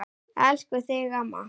Elska þig amma mín.